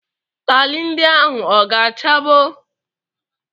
Taịlị ndị ahụ ọ ga-chabo?